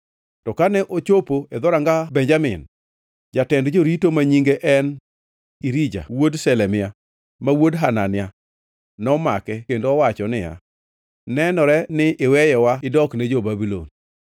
To kane ochopo e Dhoranga Benjamin, jatend jorito, ma nyinge en Irija wuod Shelemia, ma wuod Hanania, nomake kendo owacho niya, “Nenore ni iweyowa idokne jo-Babulon!”